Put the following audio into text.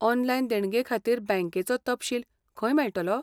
Online देणगे खातीर बँकेचो तपशील खंय मेळटलो?